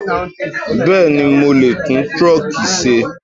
Bẹ́ẹ̀ni, Mo lè tún truck ṣe.